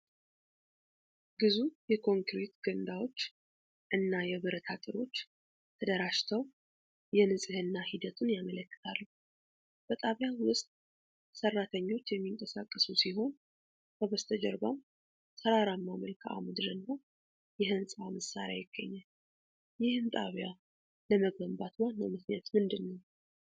ግዙፍ የኮንክሪት ገንዳዎች እና የብረት አጥሮች ተደራጅተው የንፅህና ሂደቱን ያመለክታሉ። በጣቢያው ውስጥ ሰራተኞች የሚንቀሳቀሱ ሲሆን፣ ከበስተጀርባም ተራራማ መልክዓ ምድር እና የህንፃ መሳሪያ ይገኛል። ይህን ጣቢያ ለመገንባት ዋናው ምክንያት ምንድነው?